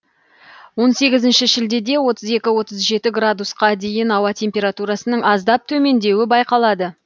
он сегізінші шілдеде отыз екі отыз жеті градусқа дейін аса температурасының аздап төмендеуі байқалады